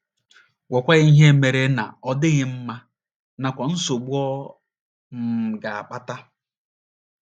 Gwakwa ya ihe mere na ọ dịghị mma, nakwa nsogbu ọ um ga - akpata.